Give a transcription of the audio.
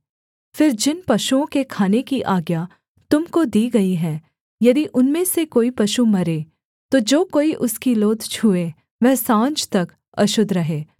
फिर जिन पशुओं के खाने की आज्ञा तुम को दी गई है यदि उनमें से कोई पशु मरे तो जो कोई उसकी लोथ छूए वह साँझ तक अशुद्ध रहे